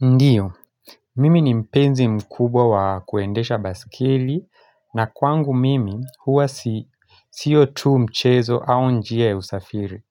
Ndio, mimi ni mpenzi mkubwa wa kuendesha baskeli na kwangu mimi huwa si si sio tu mchezo au njia ya usafiri.